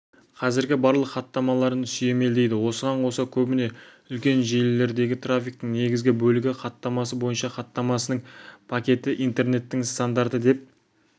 қазіргі барлық хаттамаларын сүйемелдейді осыған қоса көбіне үлкен желілердегі трафиктің негізгі бөлігі хатамасы бойынша хаттамасының пакеті интернеттің стандарты деп